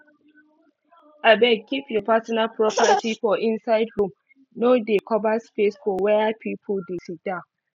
abeg keep your personal properti for inside room no dey cover space for where pipul dey siddan